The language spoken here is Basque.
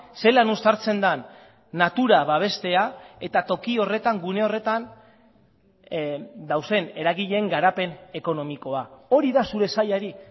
zelan uztartzen den natura babestea eta toki horretan gune horretan dauden eragileen garapen ekonomikoa hori da zure sailari